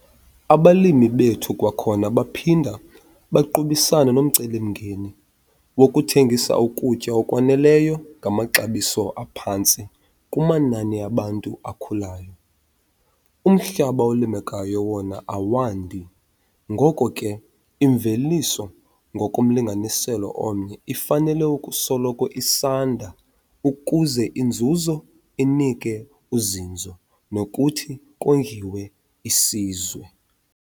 Abalimi bethu kwakhona baphinda baqubisane nomcelimngeni wokuthengisa ukutya okwaneleyo ngamaxabiso aphantsi kumanani abantu akhulayo. Umhlaba olimekayo wona awandi, ngoko ke imveliso ngokomlinganiselo omnye ifanele ukusoloko isanda ukuze inzuzo inike uzinzo nokuthi kondliwe isizwe.